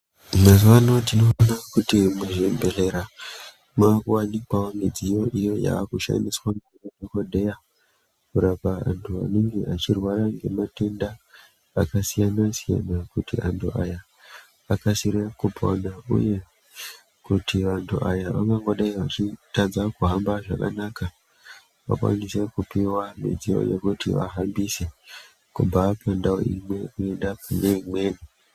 Mazuwa ano, tinoona kuti muzvibhedhera, mwaakuwanikwawo midziyo iyo yaakushandiswa ngemadhomodheya, kurapa anthu anenge achirwara ngematenda, akasiyana-siyana, kuti anthu aya akasire kupona, uye kuti anthu aya, angangodai achitadza kuhamba zvakanaka, vakwanise kupuwa midziyo yekuti vahambise, kubva pandau imwe kuenda kune imweni.